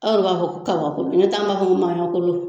Aw b'a fɔ ko kabakɔ, ne ta